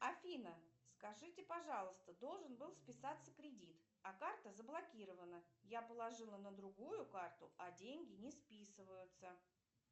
афина скажите пожалуйста должен был списаться кредит а карта заблокирована я положила на другую карту а деньги не списываются